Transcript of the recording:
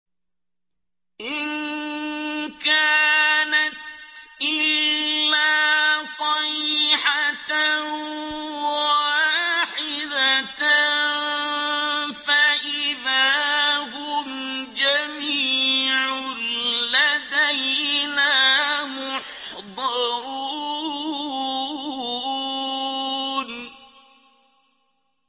إِن كَانَتْ إِلَّا صَيْحَةً وَاحِدَةً فَإِذَا هُمْ جَمِيعٌ لَّدَيْنَا مُحْضَرُونَ